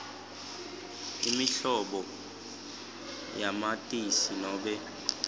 inombolo yamatisi nobe